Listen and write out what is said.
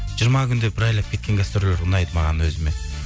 жиырма күндеп бір айлап кеткен гастрольдер ұнайды маған өзіме